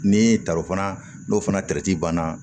Ni taraw fana n'o fana banna